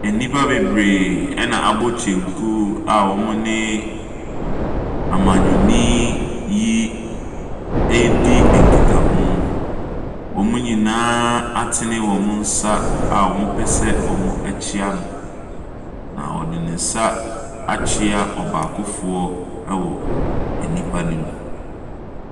Abaayewa bi a ɔte wheel chair mu. Na okura bɔɔlo wɔ nsam. Na ɔhyɛ ataarde soro a n'ahosuo no yɛ ahabanmono. Na n'akyi no, abaayewa bi nso te wheel chair mu ataadeɛ a n'ahosu yɛ ahabanmono.